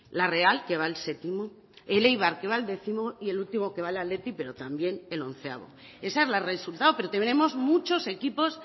la real que va el séptimo el eibar que va el décimo y el último que va el athletic pero también el décimoprimero ese es el resultado pero tenemos muchos equipos